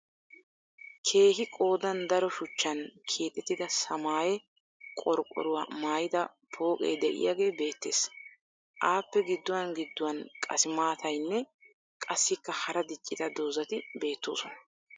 Keehi qoodan daro shuchchan keexettida samaayye qorqqoruwa mayyida pooqee diyagee beettes. Appe gidduwan gidduwan qassimaatayinne qassikka hara diccida dozzati beettoosona.